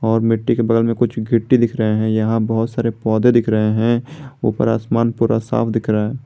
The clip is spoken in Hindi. और मिट्टी के बगल में कुछ गिट्टी दिख रही है यहां बहुत सारे पौधे दिख रहे हैं ऊपर आसमान पूरा साफ दिख रहा है।